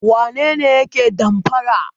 Wane ne yake damfara?